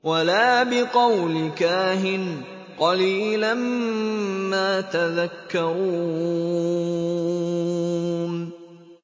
وَلَا بِقَوْلِ كَاهِنٍ ۚ قَلِيلًا مَّا تَذَكَّرُونَ